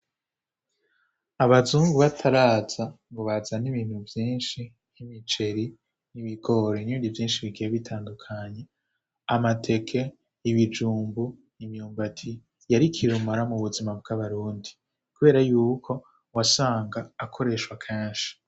Abazumgu bataraza ngo bazan' ibintu vyinshi nh'imiceri n'ibigore n'ibindi vyinshi bikiye bitandukanye amateke ibijumbu imyumbati yarikirumora mu buzima bw'abarundi, kubera yuko wasanga akoreshwa kanshi.